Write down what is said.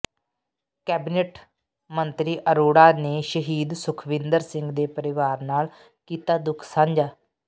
cabinet ਮੰਤਰੀ ਅਰੋੜਾ ਨੇ ਸ਼ਹੀਦ ਸੁਖਵਿੰਦਰ ਸਿੰਘ ਦੇ ਪਰਿਵਾਰ ਨਾਲ ਕੀਤਾ ਦੁੱਖ ਸਾਂਝਾ